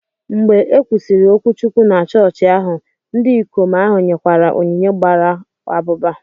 Mgbe e kwusịrị okwuchukwu na chọọchị ahụ, ndị ikom ahụ nyekwara onyinye gbara abụba